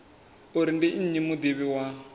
uri ndi nnyi mudivhi wa